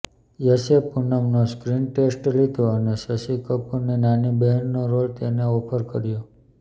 યશે પૂનમનો screen test લીધો અને શશી કપૂરની નાની બહેનનો રોલ તેને ઓફર કર્યો